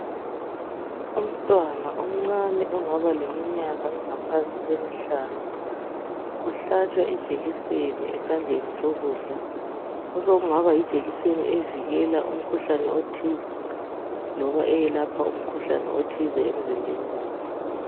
Umntwana omncane ongaba leminyaka engaphansi kwemihlanu uhlatshwa ijekiseni esandleni sokudla. Osokungaba yijekiseni evikela umkhuhlane othize loba eyelapha umkhuhlane othize emzimbeni wakhe.